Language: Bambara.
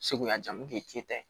Segu yan mun k'i ta ye